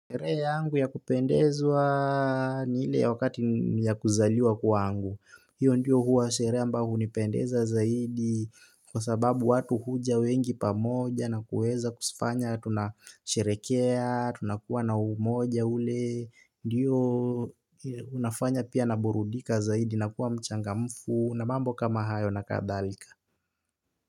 Sherehe yangu ya kupendezwa ni ile ya wakati ya kuzaliwa kwangu. Hiyo ndiyo huwa sherehe mba hunipendeza zaidi. Kwa sababu watu huja wengi pamoja na kuweza kufanya tunasherekea, tunakuwa na umoja ule. Ndiyo unafanya pia naburudika zaidi, nakuwa mchangamfu. Na mambo kama hayo na kadhalika.